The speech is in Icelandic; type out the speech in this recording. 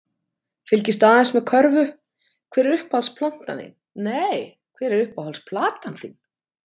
Fylgist aðeins með körfu Hver er uppáhalds platan þín?